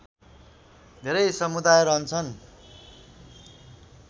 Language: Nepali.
धेरै समुदाय रहन्छन्